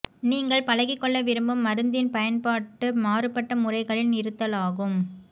நீங்கள் பழகி கொள்ள விரும்பும் மருந்தின் பயன்பாட்டு மாறுபட்ட முறைகளின் இருத்தலாகும்